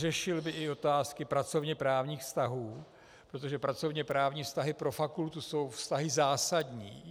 Řešil by i otázky pracovněprávních vztahů, protože pracovněprávní vztahy pro fakultu jsou vztahy zásadní.